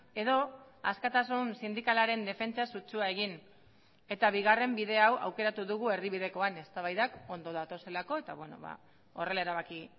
edo askatasun sindikalaren defentsa sutsua egin eta bigarren bide hau aukeratu dugu erdibidekoan eztabaidak ondo datozelako eta horrela erabaki